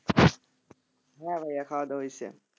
হ্যাঁ ভাইয়া খাওয়া দাওয়া হয়েছে,